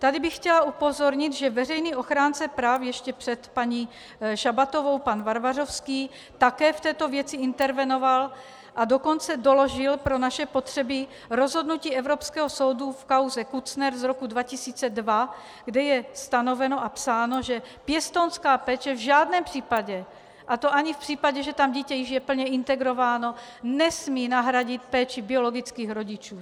Tady bych chtěla upozornit, že veřejný ochránce práv ještě před paní Šabatovou, pan Varvařovský, také v této věci intervenoval, a dokonce doložil pro naše potřeby rozhodnutí Evropského soudu v kauze Kutzner z roku 2002, kde je stanoveno a psáno, že pěstounská péče v žádném případě, a to ani v případě, že tam dítě již je plně integrováno, nesmí nahradit péči biologických rodičů.